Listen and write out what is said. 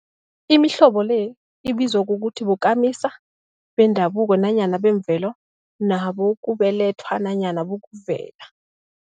Imihlobo le ibizwa ukuthi bokamisa bendabuko nanyana bemvelo, nabokubelethwa nanyana bokuvela.